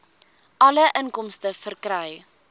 alle inkomste verkry